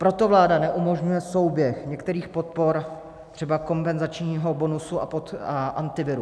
Proto vláda neumožňuje souběh některých podpor, třeba kompenzačního bonusu a Antiviru.